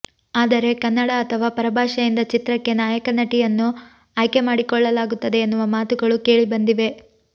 ಆದರೆ ಕನ್ನಡ ಅಥವಾ ಪರಭಾಷೆಯಿಂದ ಚಿತ್ರಕ್ಕೆ ನಾಯಕ ನಟಿಯನ್ನು ಆಯ್ಕೆ ಮಾಡಿಕೊಳ್ಳಲಾಗುತ್ತದೆ ಎನ್ನುವ ಮಾತುಗಳು ಕೇಳಿ ಬಂದಿವೆ